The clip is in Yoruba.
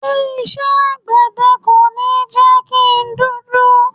Ṣé isẹ́ àgbẹ̀dẹ kò ní jẹ́ kí n dúdú?